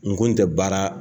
Nin ko in tɛ baara